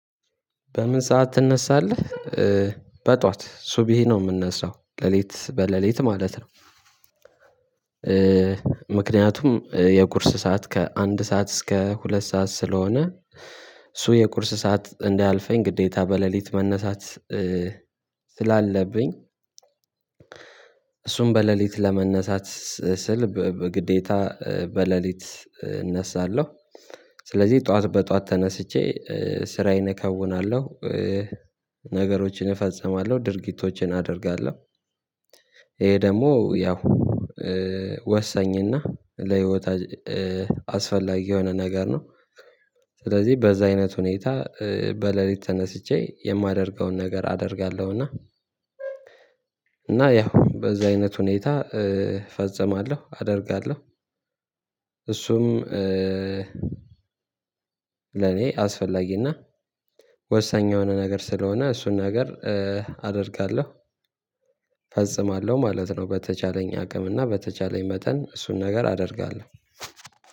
በምን ሰዓት ትነሳለህ? በጧት ሱብሂ ነው የምነሳው ሌሊት በሌሊት ማለት ነው። ምክንያቱም የቁርስ ሰዓት ከአንድ ሰዓት እስከ ሁለት ሰዓት ስለሆነ እሱ የቁርስ ሰዓት እንዳያልፈኝ ግዴታ በሌሊት መነሳት ስላለብኝ እሱን በሌሊት ለመነሳት ስል በግዴታ በሌሊት እነሳለሁ። ስለዚህ ጠዋት በጠዋት ተነስቼ ስራዬን እከውናለሁ ነገሮችን እፈጽማለሁ ድርጊቶችን አደርጋለሁ። ይሄ ደግሞ ያው ወሳኝና ለህይወት አስፈላጊ የሆነ ነገር ነው። ስለዚህ በዛ አይነት ሁኔታ በሌሊት ተነስቼ የማደርገውን ነገር አደርጋለሁና እና እና ያው በዛ አይነት ሁኔታ እፈጸማለሁ አደርጋለሁ። እሱም ለኔ አስፈላጊና ወሳኝ የሆነ ነገር ስለሆነ እሱን ነገር አደርጋለሁ። እፈጽማለሁ ማለት ነው በተቻለኝ አቅምና በተቻለኝ መጠን እሱን ነገር አደርጋለሁ።